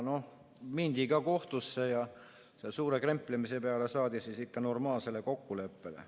Noh, mindi ka kohtusse ja suure kemplemise peale saadi ikka normaalsele kokkuleppele.